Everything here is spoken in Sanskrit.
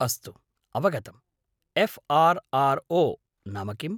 अस्तु, अवगतम्। एफ़्.आर्.आर्.ओ. नाम किम्?